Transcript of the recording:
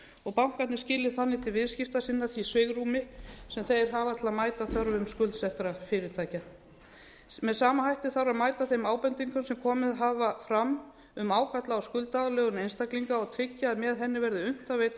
og bankarnir skili þannig til viðskiptavina sinna því svigrúmi sem þeir hafa til að mæta þörfum skuldsettra fyrirtækja með sama hætti þarf að mæta þeim ábendingum sem komið hafa fram um ágalla á skuldaaðlögun einstaklinga og tryggja að með henni verði unnt að veita